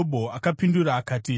Ipapo Jobho akapindura akati: